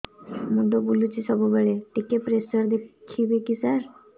ମୁଣ୍ଡ ବୁଲୁଚି ସବୁବେଳେ ଟିକେ ପ୍ରେସର ଦେଖିବେ କି ସାର